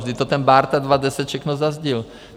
Vždyť to ten Bárta 2010 všechno zazdil.